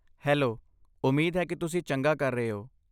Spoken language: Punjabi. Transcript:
ਹੈਲੋ, ਉਮੀਦ ਹੈ ਕਿ ਤੁਸੀਂ ਚੰਗਾ ਕਰ ਰਹੇ ਹੋ।